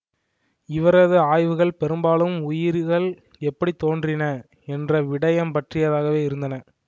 இவரது ஆய்வுகள் பெரும்பாலும் உயிர்கள் எப்படி தோன்றின என்ற விடயம் பற்றியதாகவே இருந்தன